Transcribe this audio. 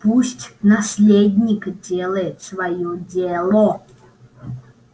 пусть наследник делает своё дело